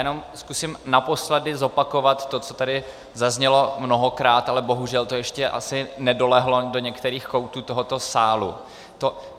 Jenom zkusím naposledy zopakovat to, co tady zaznělo mnohokrát, ale bohužel to ještě asi nedolehlo do některých koutů tohoto sálu.